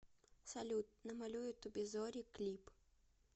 салют намалюю тоби зори клип